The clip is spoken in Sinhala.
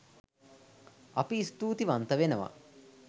අපි ස්තුතිවන්ත වෙනවා